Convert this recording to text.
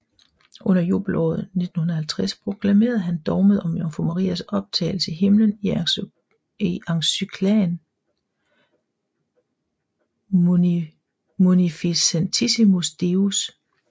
Under jubelåret 1950 proklamerede han dogmet om jomfru Marias optagelse i himmelen i encyklikaen Munificentissimus Deus